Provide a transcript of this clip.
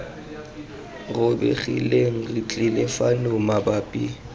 robegileng re tlile fano mabapi